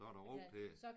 Så er der ro til det